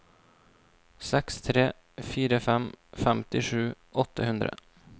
seks tre fire fem femtisju åtte hundre